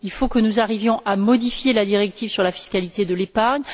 Il faut que nous arrivions à modifier la directive sur la fiscalité de l'épargne.